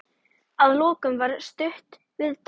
Að lokum var stutt viðtal.